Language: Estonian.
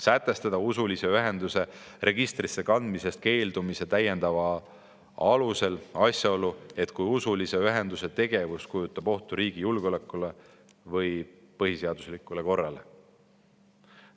Sätestada usulise ühenduse registrisse kandmisest keeldumise täiendava alusena asjaolu, et usulise ühenduse tegevus kujutab ohtu riigi julgeolekule või põhiseaduslikule korrale.